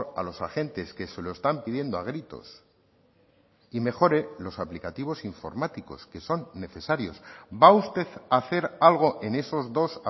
a los agentes que se lo están pidiendo a gritos y mejore los aplicativos informáticos que son necesarios va usted hacer algo en esos dos